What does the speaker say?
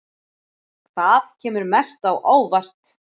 Hvað kemur mest á óvart?